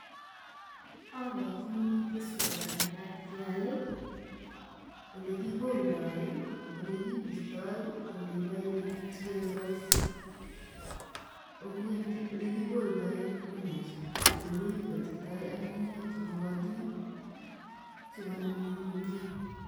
Oborchini keswot nemakat keal olee kikoldoi, olekibistoi, kindoi papishek sikoik roisi kokeny olekikoldoi en green house, olekibotitoi ak ng'ung'unyek chemokotin sikonam ngweny komnyee.